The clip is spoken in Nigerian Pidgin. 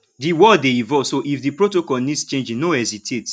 di world dey evolve so if di protocol needs changing no hesitate